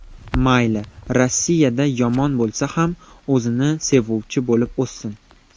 Mayli Rossiyada, yomon bo‘lsa ham, o‘zini sevuvchi bo‘lib o‘ssin.